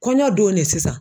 Kɔɲɔ don ne sisan